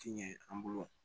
Tiɲɛ an bolo